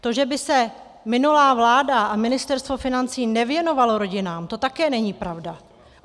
To, že by se minulá vláda a Ministerstvo financí nevěnovalo rodinám, to také není pravda.